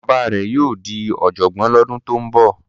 Bàbá rẹ̀ yóò di ọ̀jọ̀gbọ́n lọ́dún tó ń bọ̀.